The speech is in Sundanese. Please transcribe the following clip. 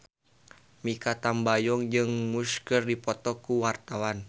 Mikha Tambayong jeung Muse keur dipoto ku wartawan